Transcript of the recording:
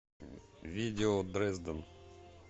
видео дрезден